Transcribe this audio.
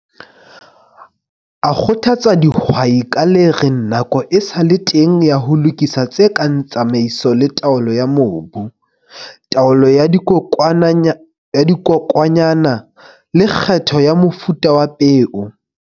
A kgothatsa dihwai ka le reng nako e sa le teng ya ho lokisa tse kang tsamaiso le taolo ya mobu, taolo ya dikokwanyana, le kgetho ya mofuta wa peo.